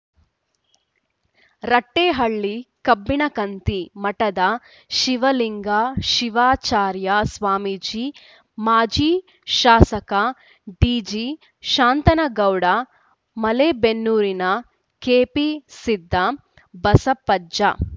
ರಟ್ಟೆಹಳ್ಳಿ ಕಬ್ಬಿಣಕಂತಿ ಮಠದ ಶಿವಲಿಂಗ ಶಿವಾಚಾರ್ಯ ಸ್ವಾಮೀಜಿ ಮಾಜಿ ಶಾಸಕ ಡಿಜಿ ಶಾಂತನಗೌಡ ಮಲೇಬೆನ್ನೂರಿನ ಕೆಪಿ ಸಿದ್ದಬಸಪ್ಪಜ್ಜ